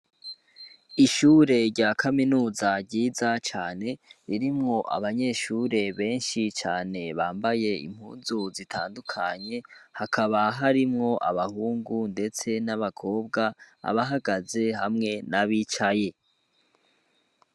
Ishure rya kaminuza ryiza cane, ririmwo abanyeshure benshi cane, bambaye impuzu zitandukanye, hakaba harimwo abahungu ndetse n'abakobwa, abahagaze hamwe n'abicaye.